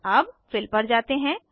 अब फिल पर जाते हैं